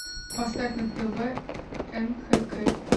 поставь на тв нхк